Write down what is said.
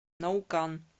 наукан